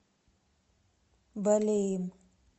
балеем